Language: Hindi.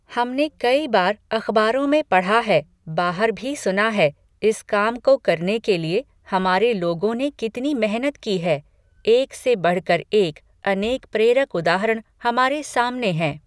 हमने कई बार अखबारों में पढ़ा है, बाहर भी सुना है, इस काम को करने के लिए हमारे लोगों ने कितनी मेहनत की है, एक से बढ़कर एक अनेक प्रेरक उदाहरण हमारे सामने हैं।